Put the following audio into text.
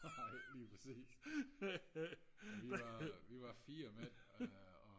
nej lige præcis vi var vi var fire mænd og